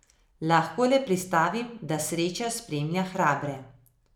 Lahko le pristavim, da sreča spremlja hrabre.